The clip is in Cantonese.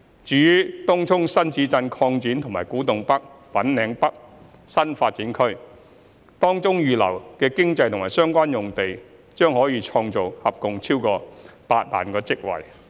至於東涌新市鎮擴展和古洞北/粉嶺北新發展區，當中預留的經濟和相關用地將創造合共超過8萬個職位。